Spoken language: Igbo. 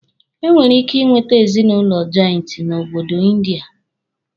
E nwere ike ị nweta ezinụlọ jọịntị n'obodo Ịndịa.